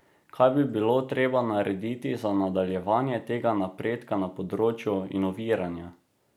Kaj bi bilo treba narediti za nadaljevanje tega napredka na področju inoviranja?